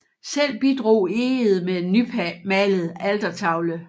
Selv bidrog Egede med en nymalet altertavle